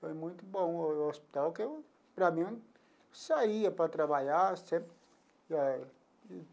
Foi muito bom o hospital, que eu, para mim, eu saía para trabalhar sempre eh.